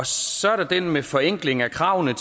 så er der den med forenkling af kravene